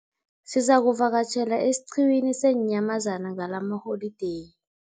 Sizakuvakatjhela esiqhiwini seenyamazana ngalamaholideyi.